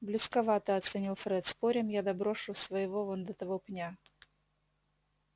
близковато оценил фред спорим я доброшу своего вон до того пня